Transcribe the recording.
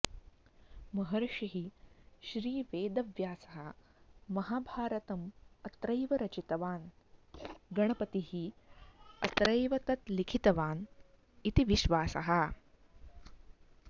महर्षिः श्री वेदव्यासः महाभारतम् अत्रैव रचितवान् गणपतिः अत्रैव तत् लिखितवान् इति विश्वासः